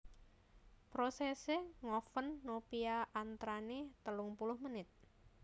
Prosèsè ngoven nopia antranè telung puluh menit